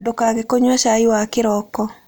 Ndũkage kũnyua cai wa kĩroko